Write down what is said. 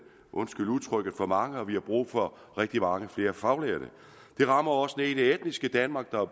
undskyld udtrykket for mange og at vi har brug for rigtig mange flere faglærte det rammer også i det etniske danmark hvor